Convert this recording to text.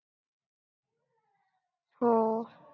हो.